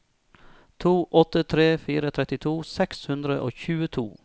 to åtte tre fire trettito seks hundre og tjueto